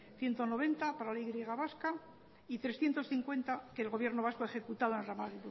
ciento noventa para la y vasca y trescientos cincuenta que el gobierno vasco ha ejecutado al ramal